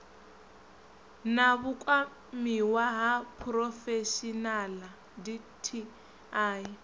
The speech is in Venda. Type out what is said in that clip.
na vhukwamiwa ha phurofeshinaḽa dti